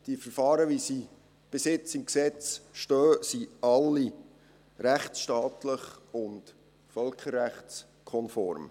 Die Verfahren, wie sie bisher im Gesetz stehen, sind alle rechtsstaatlich und völkerrechtskonform.